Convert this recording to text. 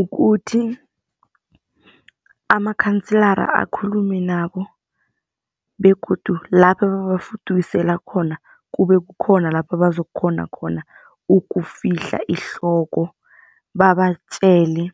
Ukuthi, amakhansela akhulume nabo begodu lapho ababafudukisela khona, kube kukhona lapho bazokukghona khona ukufihla ihloko. Babatjele